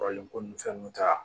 Kɔrɔlen ko nin fɛn ninnu ta